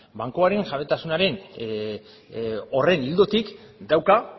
bankuaren jabetasunaren horren ildotik dauka